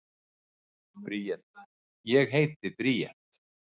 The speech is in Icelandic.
Bríet: Ég heiti Bríet.